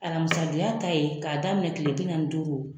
Alamisa don ya ta ye, ka daminɛ kile bi naani ni duuru